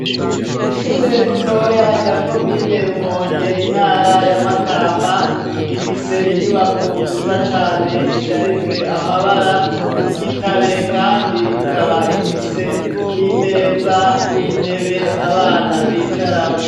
Ishure ritoya rya komine Rumonge intara ya Makamba, rifise inyubako nziza cane isharijwe amabara y'igitare kandi ikaba ifise n'imeza n'intebe abana bicaramwo.